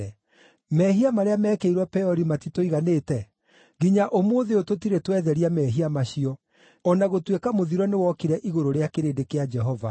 Mehia marĩa meekĩirwo Peori matitũiganĩte? Nginya ũmũthĩ ũyũ tũtirĩ twetheria mehia macio, o na gũtuĩka mũthiro nĩwokire igũrũ rĩa kĩrĩndĩ kĩa Jehova!